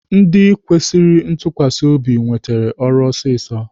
Ndị kwesịrị ntukwasi obi nwetere ọrụ ọsịsọ